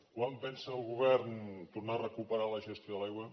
quan pensa el govern tornar a recuperar la gestió de l’aigua